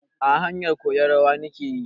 A'a, haryanzu koyan rawan nike yi.